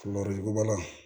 Worodugubala